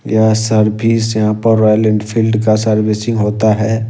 यह सर्विस जहां पर रॉयल एनफील्ड का सर्विसिंग होता है।